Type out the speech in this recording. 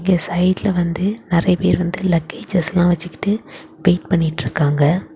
இங்க சைடுல வந்து நறைய பேர் லக்கி செஸ் எல்லாம் வெச்சிக்கிட்டு பெயிண்ட் பண்ணிட்டுருக்காங்க.